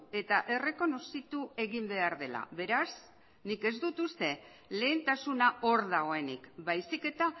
eta errekonozitu egin behar dela beraz nik ez dut uste lehentasuna hor dagoenik baizik eta